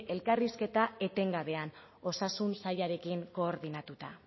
elkarrizketa etengabean osasun sailarekin koordinatuta